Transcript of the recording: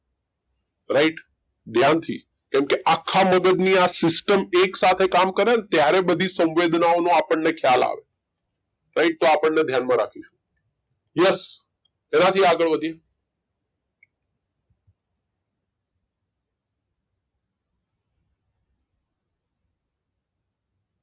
Right ધ્યાન થી કેમ કે આખા મગજની આ system એક સાથે કામ કરે ત્યારે બધી સંવેદનાઓનો આપણને ખ્યાલ આવે right તો આપણને એ ધ્યાન માં રાખીશું yes એનાથી આગળ વધી